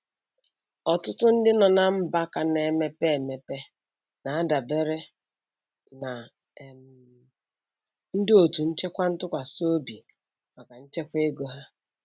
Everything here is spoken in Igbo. Ọtụtụ ndị nọ na mba ka na-emepe emepe na-adabere na um ndị otu nchekwa ntụkwasị obi maka nchekwa ego ha.